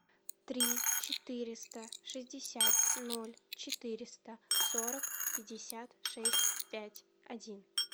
три четыреста шестьдесят ноль четыреста сорок пятьдесят шесть пять один